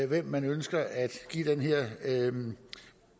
hvem man ønsker at give den her